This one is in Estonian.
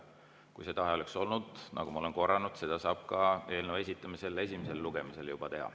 Kui see tahe oleks olnud, nagu ma olen korranud, siis seda oleks saanud teha juba eelnõu esitamisel esimesele lugemisele.